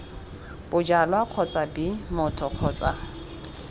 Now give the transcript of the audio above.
bojalwa kgotsa b motho kgotsa